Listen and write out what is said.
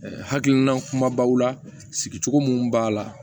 hakilina kumabaw la sigicogo minnu b'a la